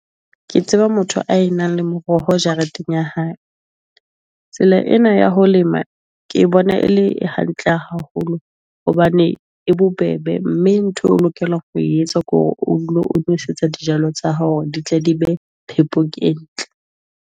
Ke tseba motho a e nang le moroho jareteng ya hae. Tsela ena ya ho lema ke bona e le hantle haholo hobane e bobebe. Mme ntho eo o lokelang ho etsa ke hore o dule o nwesetsa dijalo tsa hao hore di tle di be phepong e ntle.